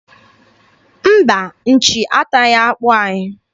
Mba, nchi ataghị akpụ anyị.